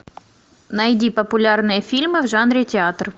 найди популярные фильмы в жанре театр